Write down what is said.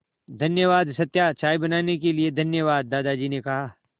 धन्यवाद सत्या चाय बनाने के लिए धन्यवाद दादाजी ने कहा